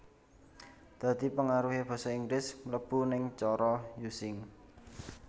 Dhadi pengaruhe Basa Inggris mlebu ning cara Using